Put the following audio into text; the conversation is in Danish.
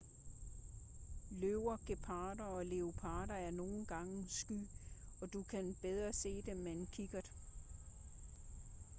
løver geparder og leoparder er nogle gange sky og du kan bedre se dem med en kikkert